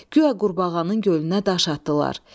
guya qurbağanın gölünə daş atdılar.